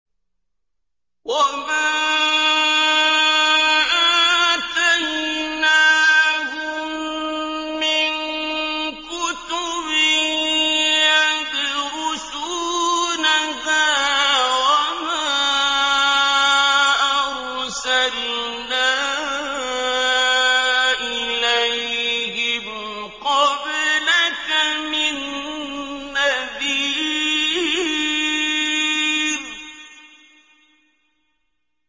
وَمَا آتَيْنَاهُم مِّن كُتُبٍ يَدْرُسُونَهَا ۖ وَمَا أَرْسَلْنَا إِلَيْهِمْ قَبْلَكَ مِن نَّذِيرٍ